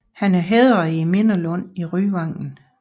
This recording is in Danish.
Han er hædret i Mindelunden i Ryvangen